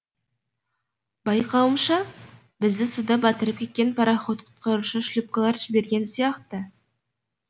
байқауымша бізді суда батырып кеткен пароход құтқарушы шлюпкалар жіберген сияқты